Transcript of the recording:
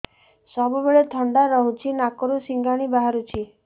ସବୁବେଳେ ଥଣ୍ଡା ରହୁଛି ନାକରୁ ସିଙ୍ଗାଣି ବାହାରୁଚି